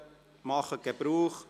Machen Sie davon Gebrauch.